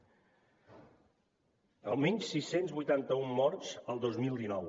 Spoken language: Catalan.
almenys sis cents i vuitanta un morts el dos mil dinou